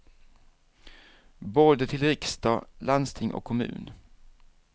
Både till riksdag, landsting och kommun.